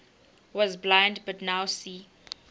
was blind but now see